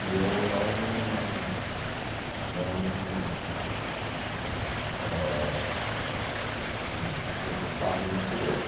E eu não não ãh hum tinha que optar por uma ou por outra.